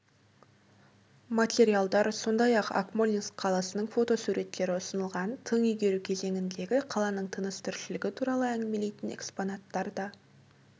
материалдар сондай-ақ акмолинск қаласының фотосуреттері ұсынылған тың игеру кезеңіндегі қаланың тыныс-тіршілігі туралы әңгімелейтін экспонаттар да